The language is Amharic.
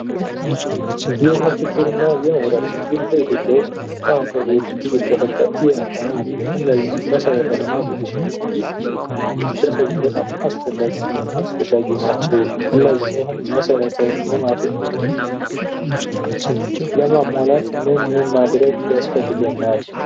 የውሃ ችግርና የመብራት ችግር በኢትዮጵያ ውስጥ ከቅርብ ጊዜ ወዲህ እየተፈታ እየመጣ ነው እነዚህ መሰረተ ልማቶች ለሰው ልጆች በጣም አስፈላጊ እና አስፈላጊ ናቸው ፤ እነዚህ መሰረተ ልማቶች ለማሟላት ምን ምን ያስፈልገናል?